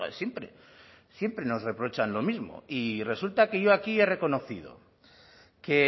siempre siempre nos reprochan lo mismo y resulta que yo aquí he reconocido que